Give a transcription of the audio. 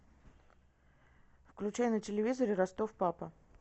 включай на телевизоре ростов папа